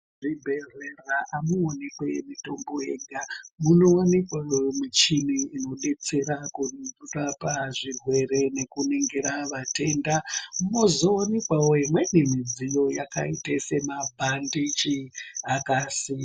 Muzvibhedhlera amuwanikwi mitombo yega munowanikwawo michini inodetsera kurapa zvirwere nekuningira vatenda mozowanikwawo imweni midziyo yakaite semabhandiji akasimba.